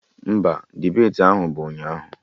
Mba, debeti ahụ bụ ụnyaahụ